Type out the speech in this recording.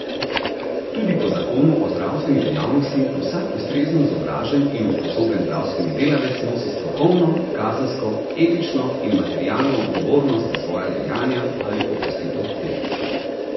Tudi po zakonu o zdravstveni dejavnosti vsak ustrezno izobražen in usposobljen zdravstveni delavec nosi strokovno, kazensko, etično in materialno odgovornost za svoja dejanja ali opustitev teh.